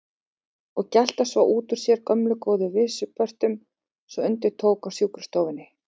Og gelta svo út úr sér gömlu góðu vísupörtunum svo undir tók á sjúkrastofunni.